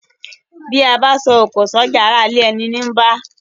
Bí abá so òkò sójà ará ilé eni ní bá